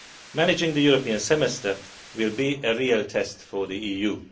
Managing the European Semester will be a real test for the EU.